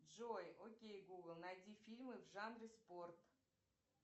джой окей гугл найди фильмы в жанре спорт